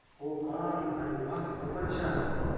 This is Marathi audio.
हो का अरे वा खूपच छान.